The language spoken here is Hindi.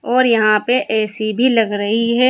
और यहां पर ए_सी भी लग रही है।